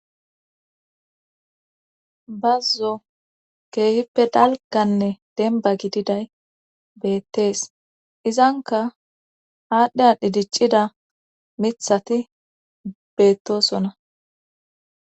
bazzo keehippe dalkanne denba gididay beettees izanka haadhdhi aadhdhi diccida mithati beettosona